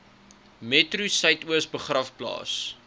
metro suidoos begraafplaas